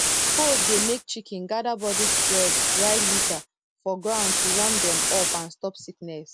cold dey make chicken gather bodyspread dry litter for ground to warm dem up and stop sickness